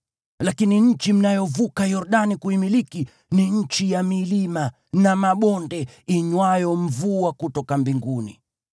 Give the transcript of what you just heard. Lakini nchi mnayovuka Yordani kuimiliki ni nchi ya milima na mabonde inywayo mvua kutoka mbinguni.